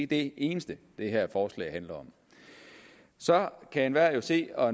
det eneste det her forslag handler om så kan enhver jo se og